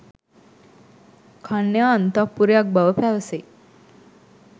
කන්‍යා අන්තඃපුරයක් බව පැවසේ.